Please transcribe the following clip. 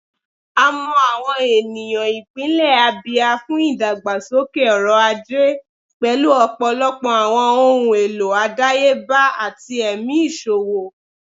A mọ awọn eniyan ipinlẹ Abia fun idagbasoke ọrọ-aje, pẹlu ọpọlọpọ awọn ohun elo adayeba ati ẹmi iṣowo.